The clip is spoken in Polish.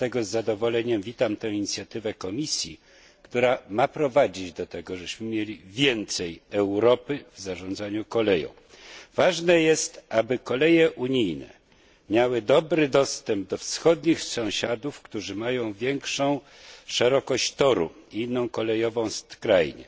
Dlatego z zadowoleniem witam inicjatywę Komisji, która ma prowadzić do tego, żebyśmy mieli więcej Europy w zarządzaniu koleją. Ważne jest, aby koleje w Unii miały dobry dostęp do wschodnich sąsiadów, którzy mają większą szerokość torów i inną kolejową skrajnię.